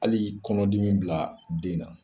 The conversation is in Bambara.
Hali kɔnɔdimi bila den na.